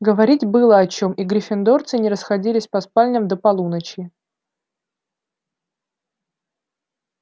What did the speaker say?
говорить было о чем и гриффиндорцы не расходились по спальням до полуночи